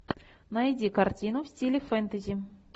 найди картину в стиле фэнтези